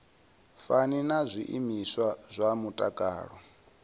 fani na zwiimiswa zwa mutakalo